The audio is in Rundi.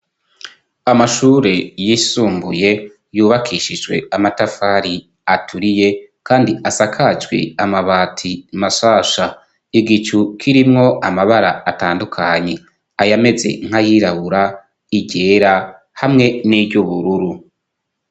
Amashure yisumbuye yubakishijwe amatafari aturiye kandi asakajwe amabati mashasha, igicu kirimwo amabara atandukanye, ayameze nk'ayirabura, iryera, hamwe n'iryubururu.